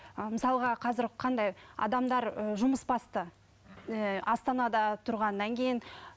ы мысалға қазір қандай адамдар ыыы жұмысбасты ііі астанада тұрғаннан кейін